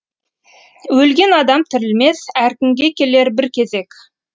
өлген адам тірілмес әркімге келер бір кезек